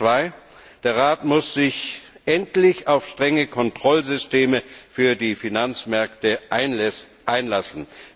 Zweitens Der Rat muss sich endlich auf strenge Kontrollsysteme für die Finanzmärkte einlassen.